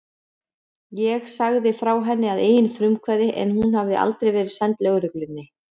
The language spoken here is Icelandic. Ég sagði frá henni að eigin frumkvæði en hún hafði aldrei verið send lögreglunni.